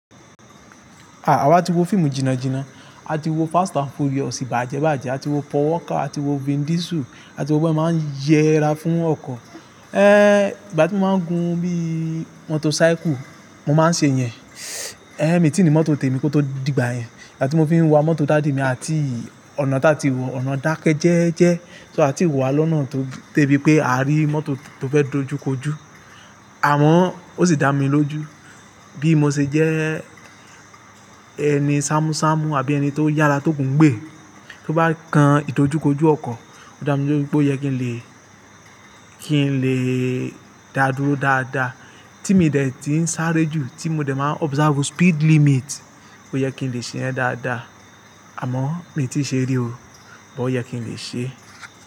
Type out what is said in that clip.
Ah! Àwa ti wo fíìmù jìnà jìnà, a ti wo Fast and Furious bàjẹ bàjẹ, a ti wo Pon walka, a ti wo Vin Diesel, a ti wo bí wọ́n se máa ń yẹra fún ọkọ̀. Eh! Ìgbà tí mo máa ń gún bí mọ́tòcycle, mo máa ń ṣe yẹn. Eh mi tìí ni mọ́tò tèmi kó tó dìgbà yẹn. Ìgbà tí mo fi ń wa mọ́tò dádì mi àti ọ̀nà táa ti wọ̀, ọ̀nà dákẹ́ jẹ́ẹ́jẹ́. So a ti wà lọ́nà tó de bi pé a rí mọ́tò tó fẹ́ dojúkojú. Àmọ́ ó sì dá mi lójú bí mo ṣe jẹ́ ẹni ṣámúṣámú àbí ẹni tó yára tó ogùn gbẹ. Tó bá kan ìtọ́júkojú ọkọ̀, ó dá mi lójú pé ó yẹ kí n lè, kí n lè dá dúró dáadáa. Tí mi dè tí ń sáré jù, tí mo dè máa observe speed limit, ó yẹ kí n lè ṣe yen dáadáa. Àmọ́ mi ò tí ì ṣe rí o, but ó yẹ kí n lè ṣe.